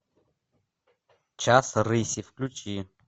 час рыси включи